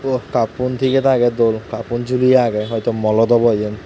sut cup un tige tage dol cupun juleyi age hoito mall ot obo iyan.